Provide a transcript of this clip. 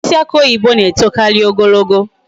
Osisi aki oyibo na etokaari ogologo